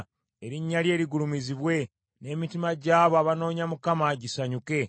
Erinnya lye ligulumizibwe, n’emitima gy’abo abanoonya Mukama gisanyuke.